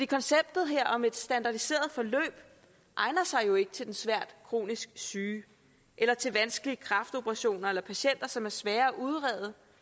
konceptet her om et standardiseret forløb egner sig jo ikke til den svært kronisk syge eller til vanskelige kræftoperationer eller patienter som er svære at udrede